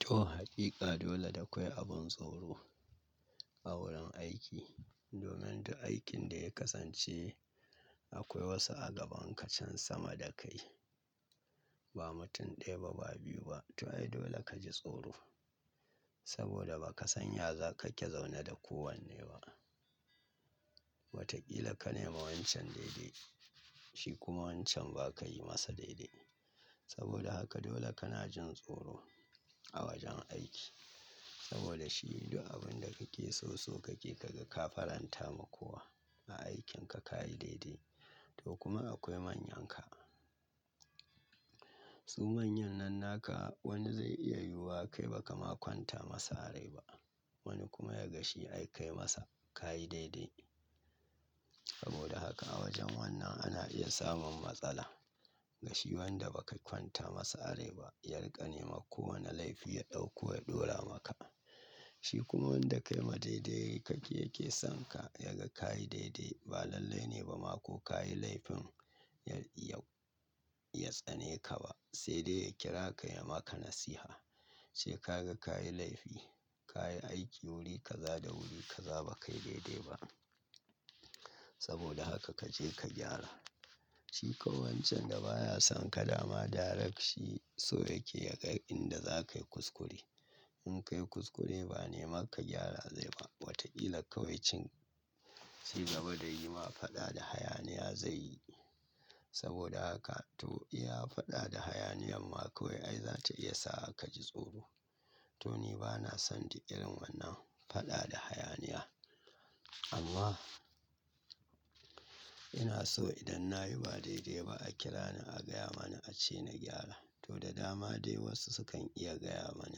To, haqiqa dole da akwai abin tsoro a wurin aiki. Domin duk aikin da ya kasance akwai wasu a gaban ka can sama da kai. Ba mutum ɗaya ba, ba biyu ba. To ai dole ka ji tsoro. Saboda ba ka san ya za ka ke zaune da kowanne ba. Watakila ka nema wancan daidai, shi kuma wancan ba ka yi masa daidai. Saboda haka dole kana jin tsoro a wajen aiki. Saboda shi yanda abun da kake so so kake kaga ka faranta ma kowa a aikinka ka yi daidai. To kuma akwai manyanka. Su manyan nan naka wani zai iya yi wa kai ba kama kwanta masa rai ba. Wani kuma ya gashi ai kai masa ka yi daidai. Saboda haka a wajen wannan ana iya samun matsala. Gashi wanda ba ka kwanta masa rai ba ya rika nema ko wane laifi ya ɗauko ya ɗora maka. Shi kuma wanda kai ma daidai kake yake son ka ya ga ka yi daidai. Ba lallai ne ba ma ko ka yi laifin ya tsane ka ba. Sai dai ya kira ka ya maka nasiha. Cewa ka ga ka yi laifi, ka yi aiki wurika za da wurika za ba ka yi daidai ba. Saboda haka ka je ka gyara. Shi kawai wancan da ba ya son ka dama direct shi so yake ya ga inda za ka yi kuskure. In ka yi kuskure ba nema ka gyara zai ba. Watakila kawai cin shi saboda yi ma fada da hayaniya zai yi. Saboda haka to iya fada da hayaniyan ma kawai ai za ta iya sa ka ji tsoro. To ni ba na son du irin wannan fada da hayaniya. Amma ina so idan na yi ba daidai ba a kira ni a gaya mani a ce ni gyara. To da dama dai wasu su kan iya gaya mani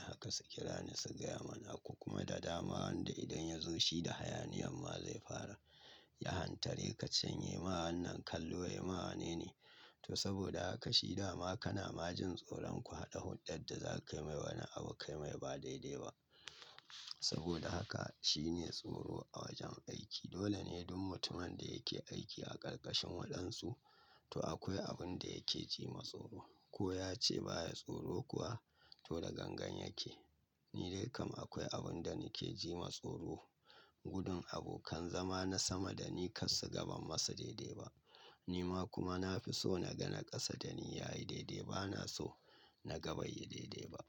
haka su kira ni su gaya mani. Ku kuma da dama wanda idan ya zo shi da hayaniyan ma zai fara ya hantare ka canye ma wannan kallo ya ma wane ne. To saboda haka shi dama kana ma jin tsoron ku haɗa hunɗan da za ka kai mai wani abu kai mai ba daidai ba. Saboda haka shine tsoro a wajen aiki. Dole ne duk mutumin da yake aiki a ƙarƙashin waɗansu to akwai abin da yake ji matsoro. Ko ya ce ba ya tsoro kuwa to da gangan yake. Ni dai kam akwai abin da nake ji matsoro. Gudun abokan zama na sama da ni kar su gaban masa daidai ba. Ni ma kuma na fi so na gana ƙasa da ni ya yi daidai. Ba na so na gaba ya yi daidai ba.